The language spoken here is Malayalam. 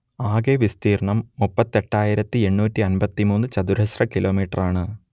ആകെ വിസ്തീർണ്ണം മുപ്പത്തിയെട്ടായിരത്തിയെണ്ണൂറ്റിയമ്പത്തിമൂന്ന് ചതുരശ്ര കിലോമീറ്ററാണ്